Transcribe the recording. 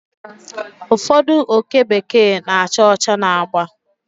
Ụfọdụ oke bekee na-acha ọcha na agba